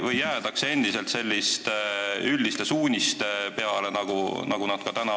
Või jäädakse endiselt selliste üldiste suuniste peale, nagu praegugi on?